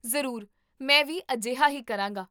ਜ਼ਰੂਰ ਮੈਂ ਵੀ ਅਜਿਹਾ ਹੀ ਕਰਾਂਗਾ